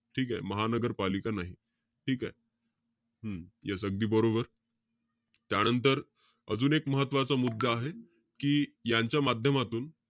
ठीकेय? महानगरपालिका नाही. ठीकेय? हम्म yes अगदी बरोबर. त्यांनतर, अजून एक महत्वाचा मुद्दा आहे. कि यांच्या माध्यमातून,